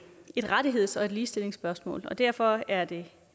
et rettigheds og ligestillingsspørgsmål og derfor er det